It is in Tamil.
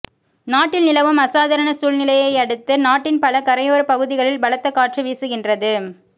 நாட்டில் நிலவும் அசாதாரண சூழ்நிலையையடுத்து நாட்டின் பல கரையோரப் பகுதிகளில் பலத்த காற்று வீசுகின்றது